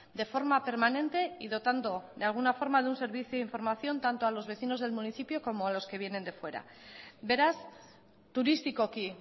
de forma permanente y dotando de alguna forma de un servicio de información tanto a los vecinos del municipio como a los que vienen de fuera beraz turistikoki